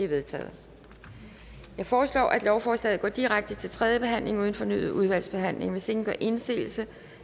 vedtaget jeg foreslår at lovforslaget går direkte til tredje behandling uden fornyet udvalgsbehandling hvis ingen gør indsigelse